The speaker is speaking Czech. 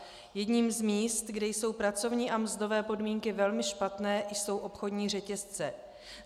Jedním z míst, kde jsou pracovní a mzdové podmínky velmi špatné, jsou obchodní řetězce.